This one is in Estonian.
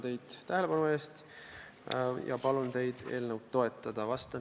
Tänan teid tähelepanu eest ja palun teid eelnõu toetada!